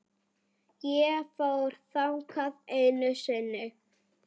Ég fór þangað einu sinni.